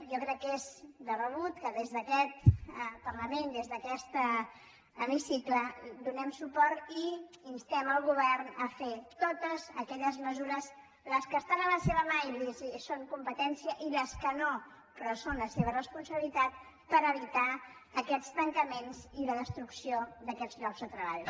jo crec que és de rebut que des d’aquest parlament des d’aquest hemicicle hi donem suport i instem el govern a fer totes aquelles mesures les que estan a la seva mà i li són competències i les que no però que són la seva responsabilitat per evitar aquests tancaments i la destrucció d’aquests llocs de treball